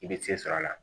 I bɛ se sɔrɔ a la